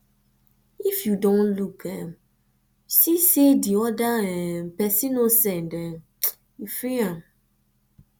if you don look um see sey di oda um person no send um you free am